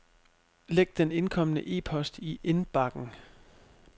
Læg den indkomne e-post i indbakken.